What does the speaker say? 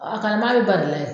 A a kalanbaga be ba de la yen